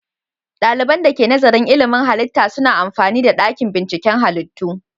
Dalibin da ke nazarin ilmin halitta suna amfani da dakin binciken halittu.